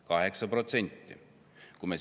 Kaheksa protsenti!